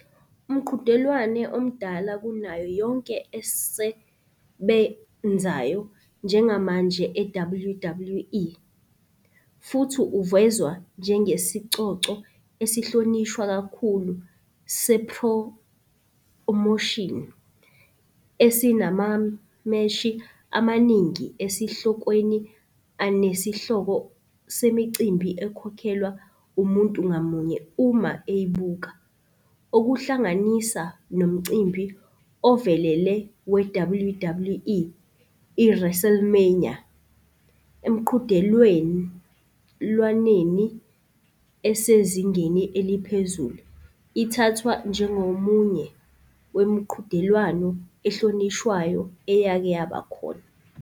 Umqhudelwano omdala kunayo yonke osebenzayo njengamanje e-WWE, futhi uvezwa njengesicoco esihlonishwa kakhulu sephromoshini, esinamameshi amaningi esihlokweni anesihloko semicimbi ekhokhelwa umuntu ngamunye uma eyibuka - okuhlanganisa nomcimbi ovelele we-WWE i-WrestleMania. Emiqhudelwaneni esezingeni eliphezulu, ithathwa njengomunye wemiqhudelwano ehlonishwayo eyake yabakhona.